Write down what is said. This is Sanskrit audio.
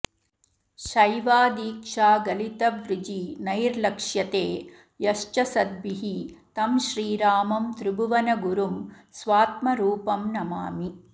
शैवीदीक्षागलितवृजिनैर्लक्ष्यते यश्च सद्भिः तं श्रीरामं त्रिभुवनगुरुं स्वात्मरूपं नमामि